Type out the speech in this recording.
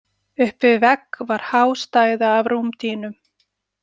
Upp við vegg var há stæða af rúmdýnum.